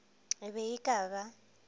e be e ka ba